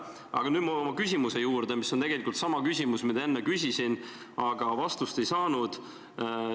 Aga nüüd lähen ma oma küsimuse juurde, mis on tegelikult sama, mida ma enne küsisin, aga millele vastust ei saanud.